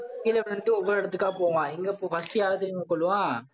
கீழே விழுந்துட்டு ஒவ்வொரு இடத்துக்கா போவான். எங்க first யார தெரியுமா கொல்லுவான்?